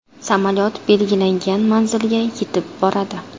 Samolyot belgilangan manzilga yetib boradi.